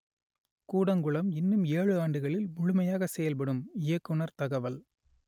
கூடங்குளம் இன்னும் ஏழு ஆண்டுகளில் முழுமையாக செயல்படும் இயக்குனர் தகவல்